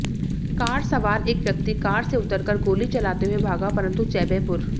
car सवार एक व्यक्ति कार से उतरकर गोली चलाते हुए भागा परन्तु चैबेपुर